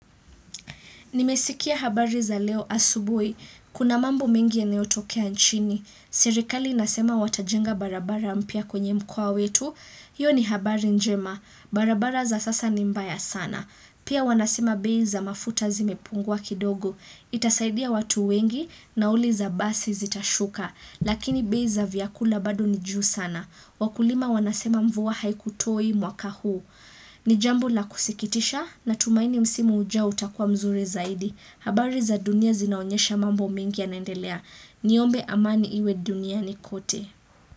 Nimesikia habari za leo asubui. Kuna mambo mengi yanayotokea nchini. Serikali inasema watajenga barabara mpya kwenye mkoa wetu. Hiyo, ni habari njema. Barabara za sasa ni mbaya sana. Pia wanasema bei za mafuta zimepungua kidogo. Itasaidia watu wengi, nauli za basi zitashuka. Lakini bei za vyakula bado ni juu sana. Wakulima wanasema mvua haikutoi mwaka huu. Ni jambo la kusikitisha natumaini msimu ujao utakua mzuri zaidi. Habari za dunia zinaonyesha mambo mengi yanaendelea. Niombe amani iwe dunia ni kote.